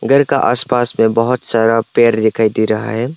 घर का आस पास में बहुत सारा पेर दिखाई दे रहा है।